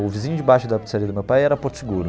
O vizinho de baixo da pizzaria do meu pai era porto seguro.